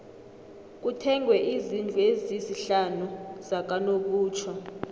kuthengwe izndlu ezisihlanu zakanobutjho